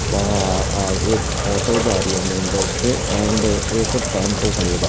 वहां आगे एक ऑटो जा रही है। मेन रोड से एंड एक टेंपो खड़ी है बाहर।